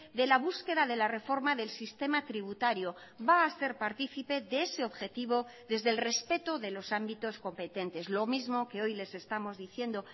de la búsqueda de la reforma del sistema tributario va a ser partícipe de ese objetivo desde el respeto de los ámbitos competentes lo mismo que hoy les estamos diciendo